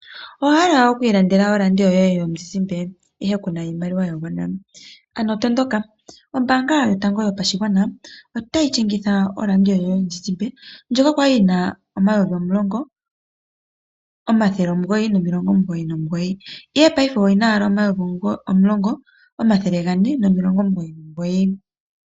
Owa hala oku ilandela oradio yoye yomuzuzimba ihe ku na iimaliwa ya gwana , ano tondoka, ombaanga yotango yopashigwana otayi shingitha oradio yomuzizimba ndjoka kwali yina N$ 10,999 ihe paife oyina owala N$ 10,449